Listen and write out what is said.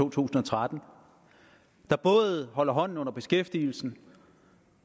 to tusind og tretten der både holder hånden under beskæftigelsen